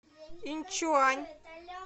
иньчуань